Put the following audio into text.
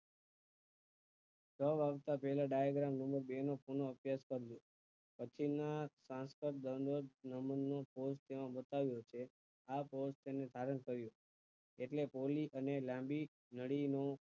ત્યાર બાદ ના તેના diagram માં બે નું સયોજક કર્યું પછી ના transfer દ્રવ ને નમૂના કોષ તેમાં બતાવે છે આ કોષ તેનું સારું કર્યું ઍટલે પોળી અને લાંબી નળી નું